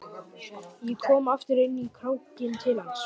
Ég kom aftur inn í krókinn til hans.